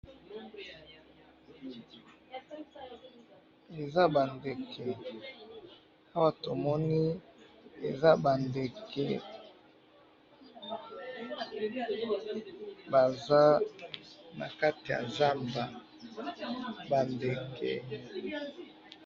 eza ba ndeke, awa tomoni eza ba ndeke baza nakati ya zamba, ba ndeke